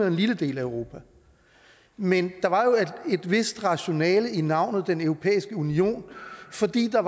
en lille del af europa men der var et vist rationale i navnet den europæiske union fordi der